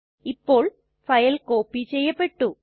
ഇപ്പോൾ file copy ചെയ്യപ്പെട്ടു